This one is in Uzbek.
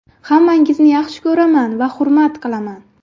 Hammangizni yaxshi ko‘raman va hurmat qilaman.